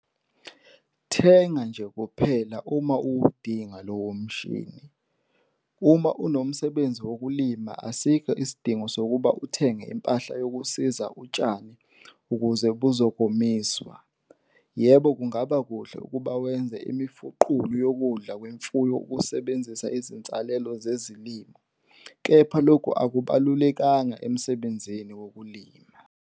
Thenga nje kuphela uma uwudinga lowo mshini. Uma unomsebenzi wokulima asikho isidingo sokuba uthenge impahla yokusika utshani ukuze buzokomiswa. Yebo kungaba kuhle ukuba wenze imifuqulu yokudla kwemfuyo usebenzisa izinsalela zezilimo, kepha loku akubalulekanga emsebenzini wokulima.